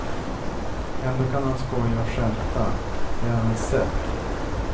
Ändå kan han skoja och skämta, det är hans sätt.